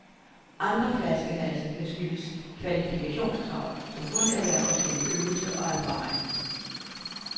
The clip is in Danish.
Andre flaskehalse kan skyldes kvalifikationskrav, som kun erhverves gennem øvelse og erfaring.